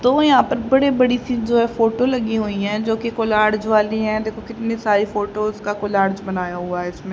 दो यहां पर बड़ी बड़ी सी जो है फोटो लगी हुई है जोकि कॉलर्ज वाली है देखो कितनी सारी फोटोज का कॉलर्ज बनाया हुआ है इसमें --